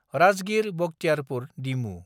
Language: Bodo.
राजगिर–बक्तियारपुर डिमु